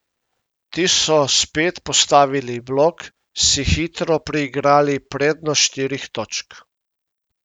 Ti so spet postavili blok, si hitro priigrali prednost štirih točk.